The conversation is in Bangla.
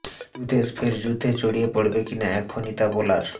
দুদেশ ফের যুদ্ধে জড়িয়ে পড়বে কিনা এখনই তা বলার